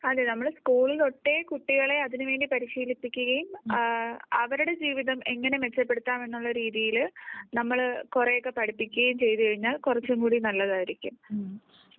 അതെ നമ്മൾ സ്കൂൾ തൊട്ടേ കുട്ടികളെ അതിനുവേണ്ടി പരിശീലിപ്പിക്കുകയും അവരുടെ ജീവിതം എങ്ങനെ മെച്ചപ്പെടുത്താം എന്നുള്ള രീതിയിൽ നമ്മൾ കുറെയൊക്കെ പഠിപ്പിക്കുകയും ചെയ്തുകഴിഞ്ഞാൽ കുറച്ചും കൂടി നല്ലതായിരിക്കും.